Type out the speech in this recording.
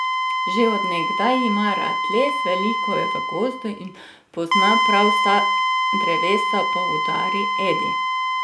Že od nekdaj ima rad les, veliko je v gozdu in pozna prav vsa drevesa, poudari Edi.